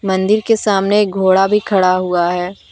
मंदिर के सामने एक घोड़ा भी खड़ा हुआ है।